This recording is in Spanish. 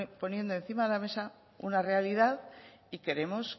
poniendo encima de la mesa una realidad y queremos